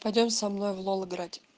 пойдём со мной в лол играть